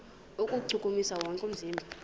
kuwuchukumisa wonke umzimba